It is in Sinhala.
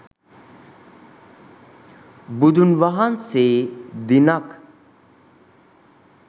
බුදුන් වහන්සේ දිනක්